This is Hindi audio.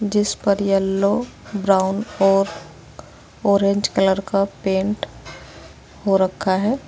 जिस पर येल्लो ब्राउन और ऑरेंज कलर का पेंट हो रखा है।